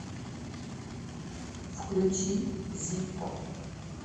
включи зиппо